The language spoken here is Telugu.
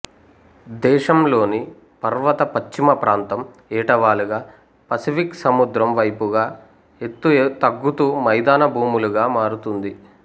దేశం లోని పర్వత పశ్చిమ ప్రాంతం ఏటవాలుగా పసిఫిక్ సముద్రం వైపుగా ఎత్తు తగ్గుతూ మైదాన భూములుగా మారుతుంది